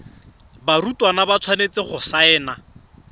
barutwana ba tshwanetse go saena